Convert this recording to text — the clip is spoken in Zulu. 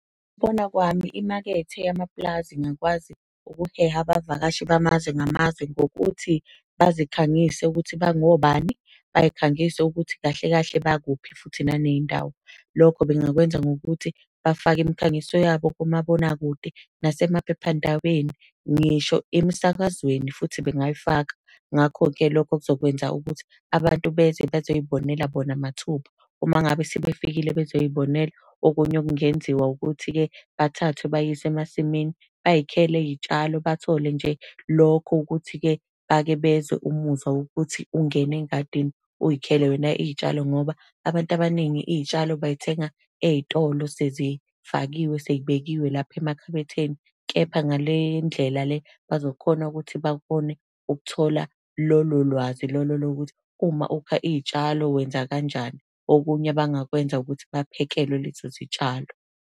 Ngokubona kwami imakethe yamapulazi ingakwazi ukuheha abavakashi bamazwe ngamazwe, ngokuthi bazikhangise ukuthi bangobani, bay'khangise ukuthi kahle kahle bakuphi futhi naney'ndawo. Lokho bengakwenza ngokuthi bafake imikhangiso yabo kumabonakude, nasemaphephandabeni, ngisho emsakazweni futhi bengayifaka. Ngakho-ke lokho kuzokwenza ukuthi abantu beze bezoy'bonela bona mathupha. Uma ngabe sebefikile bezoy'bonela, okunye okungenziwa ukuthi-ke bathathwe, beyiswe emasimini, bay'khele iy'tshalo bathole nje lokho ukuthi-ke bake bezwe umuzwa wokuthi ungene engadini uy'khele wena iy'tshalo. Ngoba abantu abaningi iy'tshalo bay'thenga ey'tolo sezifakiwe, sey'bekiwe lapha emakhabetheni. Kepha ngale ndlela le bazokhona ukuthi bakhone ukuthola lolo lwazi lolo lokuthi uma ukha iy'tshalo wenza kanjani. Okunye abangakwenza ukuthi baphekelwe lezo zitshalo.